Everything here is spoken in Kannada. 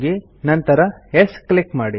ನಂತರ ಯೆಸ್ ಕ್ಲಿಕ್ ಮಾಡಿ